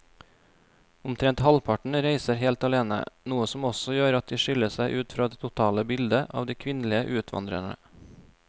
Omtrent halvparten reiser helt alene, noe som også gjør at de skiller seg ut fra det totale bildet av de kvinnelige utvandrerne.